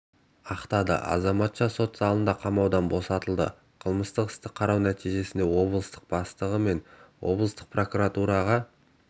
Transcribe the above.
ақтады азаматша сот залында қамаудан босатылды қылмыстық істі қарау нәтижесінде облыстық бастығы мен облыстық прокуратураға